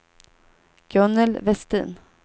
Gunnel Westin